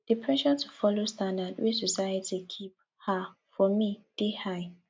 di pressure to folo standard wey society keep um for me dey high